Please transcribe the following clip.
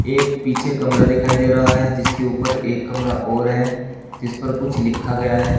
एक पीछे कमरा दिखाई दे रहा है जिसके ऊपर एक कमरा और है जिस पर कुछ लिखा गया है।